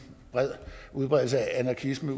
udbredelse af anarkisme